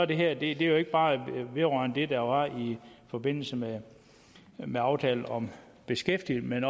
det her jo ikke bare det der var i forbindelse med med aftalen om beskæftigelsen